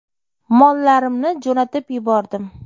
Mollarimni jo‘natib yubordim.